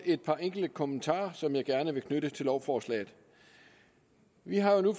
et par enkelte kommentarer som jeg gerne vil knytte til lovforslaget vi har jo